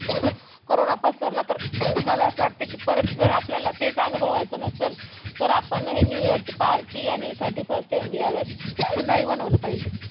corona पसरला तर तो मला असं वाटतं कि परत तेच आपल्याला तेच पुन्हा अनुभवायचं नसल तर आपण हे new ची party आणि thirty first या वेळेस नाही बनवलं पाहिजे